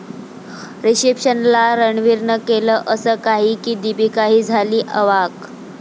रिसेप्शनला रणवीरनं केलं असं काही की दीपिकाही झाली अवाक